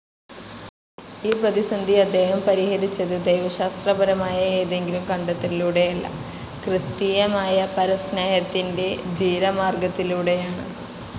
ഈ പ്രതിസന്ധി അദ്ദേഹം പരിഹരിച്ചത്, ദൈവശാസ്ത്രപരമായ ഏതെങ്കിലും കണ്ടെത്തലിലൂടെയല്ല, ക്രിസ്തീയമായ പരസ്നേഹത്തിന്റെ ധീരമാർഗ്ഗത്തിലൂടെയാണ്....